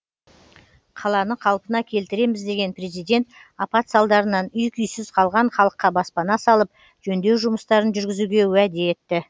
қаланы қалпына келтіреміз деген президент апат салдарынан үй күйсіз қалған халыққа баспана салып жөндеу жұмыстарын жүргізуге уәде етті